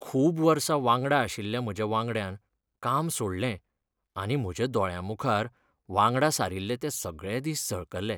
खूब वर्सां वांगडा आशिल्ल्या म्हज्या वांगड्यान काम सोडलें आनी म्हज्या दोळ्यांमुखार वांगडा सारिल्ले ते सगळे दीस झळकले.